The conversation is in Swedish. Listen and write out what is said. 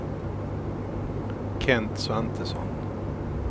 Kent Svantesson